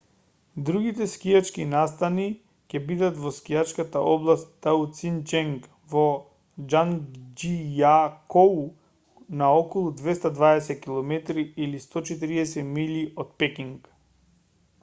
другите скијачки настани ќе бидат во скијачката област таициченг во џангџијакоу на околу 220 km 140 милји од пекинг